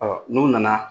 n'u nana